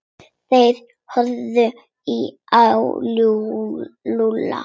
Þeir horfðu á Lúlla.